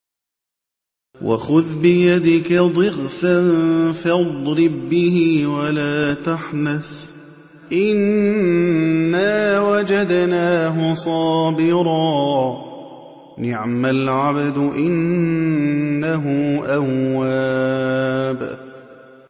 وَخُذْ بِيَدِكَ ضِغْثًا فَاضْرِب بِّهِ وَلَا تَحْنَثْ ۗ إِنَّا وَجَدْنَاهُ صَابِرًا ۚ نِّعْمَ الْعَبْدُ ۖ إِنَّهُ أَوَّابٌ